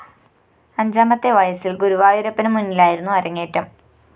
അഞ്ചാമത്തെ വയസ്സില്‍ ഗുരുവായൂരപ്പനുമുന്നിലായിരുന്നു അരങ്ങേറ്റം